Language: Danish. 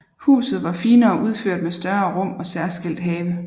Huset var finere udført med større rum og særskilt have